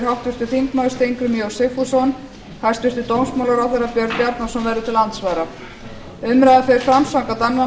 háttvirtur þingmaður steingrímur j sigfússon hæstvirtur dómsmálaráðherra björn bjarnason verður til andsvara umræðan fer fram samkvæmt annarri